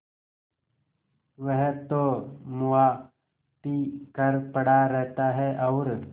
वह तो मुआ पी कर पड़ा रहता है और